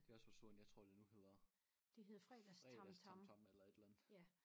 Det også forsvundet jeg tror det nu hedder FredagsTamTam eller et eller andet